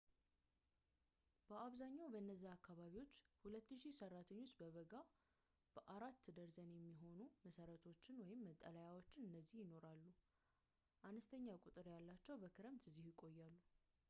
በአብዛኛው በእነዚያ አካባቢዎች ሁለት ሺህ ሰራተኞች በበጋ በአራት ደርዘን የሚሆኑ መሰረቶች/መጠሊያዎች እዚህ ይኖራሉ፡ አነስተኛ ቁጥር ያላቸው በክረምት እዚህ ይቆያሉ